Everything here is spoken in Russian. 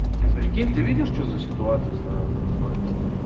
ты прикинь ты видишь что за ситуация с нами происходит